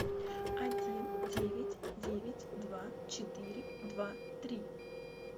один девять девять два четыре два три